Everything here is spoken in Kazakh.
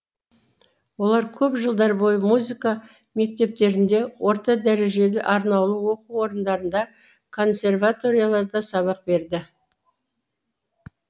олар көп жылдар бойы музыка мектептерінде орта дәрежелі арнаулы оқу орындарында консерваторияда сабақ берді